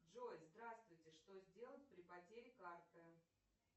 джой здравствуйте что сделать при потере карты